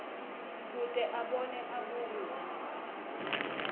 kute abone abuye